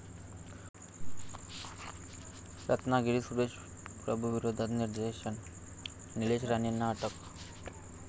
रत्नागिरीत सुरेश प्रभूंविरोधात निदर्शन, निलेश राणेंना अटक